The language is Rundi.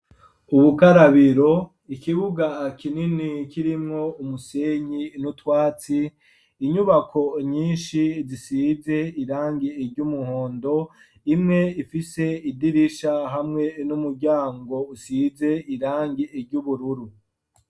Ubukarabiro ikibuga kinini kirimwo umusenyi n'utwatsi inyubako nyinshi zisize irangi ry'umuhondo imwe ifise idirisha hamwe n'umuryango usize irangi ry'ubururu.